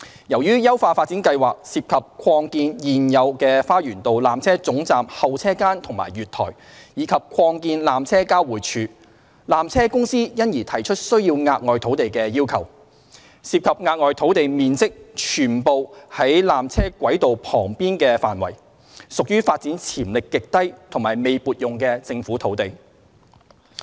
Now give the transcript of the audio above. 由於優化發展計劃涉及擴建現有的花園道纜車總站候車間及月台，以及擴建纜車交匯處，纜車公司因而提出需要額外土地的要求。涉及額外土地面積全部在纜車軌道範圍旁邊，屬於發展潛力極低及未撥用的政府土地。